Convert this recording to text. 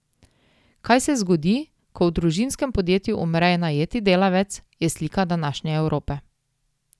Kaj se zgodi, ko v družinskem podjetju umre najeti delavec, je slika današnje Evrope.